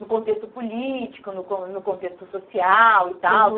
no contexto político, no con no contexto social e tal.